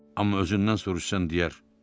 Amma özündən soruşsan deyər: